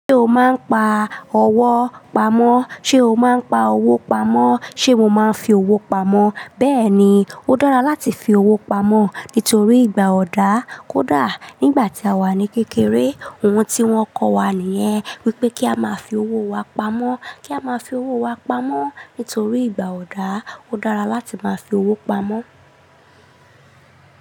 Ṣé o máa ń pa owó pamọ́? Sé o máa ń pa owó pamọ́? Sé mo máa ń fi owó pamọ́? Bẹ́ẹ̀ ni, ó dára láti fi owó pamọ́ nítorí ìgbà ọ̀dà kódà nígbà tí a wà ní kékeré ohun tí wón kọ́ wa nìyẹn wípé kí a máa fi owó wa pamọ́, kí a máa fi owó wa pamọ́ nítorí ìgbà ọ̀dà ó dára láti máa fi owó pamọ́.